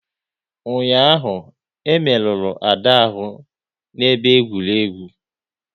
Ụnyaahụ, e merụrụ Ada ahụ n'ebe egwuregwu